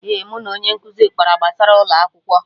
Eh, mụ na onye nkụzi kpara gbasara ụlọ akwụkwọ